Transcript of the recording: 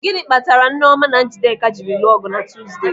Gịnị kpatara Nneọma na Njideka jiri lụọ ọgụ na Tuzde?